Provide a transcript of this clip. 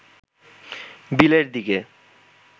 বিলের দিকে